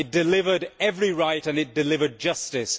it delivered every right and it delivered justice.